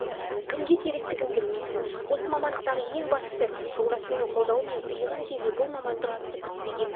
кімге керектігін білмейсін осы мамандықтағы ең бастысы жолдасыңның қолдауы мен иығын сезу бұл мамандық күтпегендіктер